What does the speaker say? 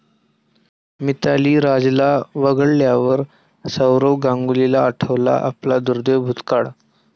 मिताली राजला वगळल्यावर सौरव गांगुलीला आठवला आपला दुर्दैवी भूतकाळ